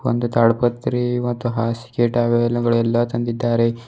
ಒಂದು ಮತ್ತು ಹಾಸಿಗೆ ಟವೆಲ್ ಗಳೆಲ್ಲ ತಂದಿದ್ದಾರೆ.